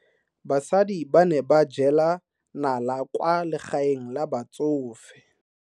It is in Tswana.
Basadi ba ne ba jela nala kwaa legaeng la batsofe.